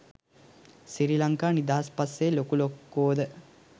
සිරි ලංකා නිදහස් පස්සේ ලොකු ලොක්කොද